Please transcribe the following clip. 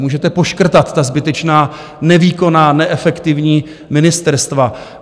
Můžete poškrtat ta zbytečná, nevýkonná, neefektivní ministerstva.